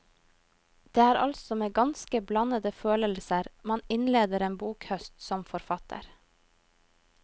Det er altså med ganske blandede følelser man innleder en bokhøst, som forfatter.